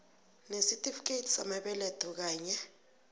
nesitifikethi samabeletho kanye